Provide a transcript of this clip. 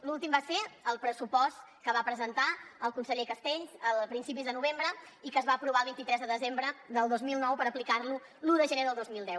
l’últim va ser el pressupost que va presentar el conseller castells a principis de novembre i que es va aprovar el vint tres de desembre del dos mil nou per aplicar lo l’un de gener del dos mil deu